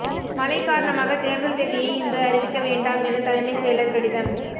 மழை காரணமாக தேர்தல் தேதியை இன்று அறிவிக்க வேண்டாம் என தலைமைச் செயலர் கடிதம்